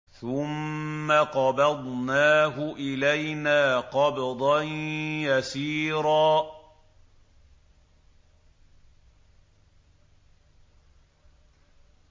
ثُمَّ قَبَضْنَاهُ إِلَيْنَا قَبْضًا يَسِيرًا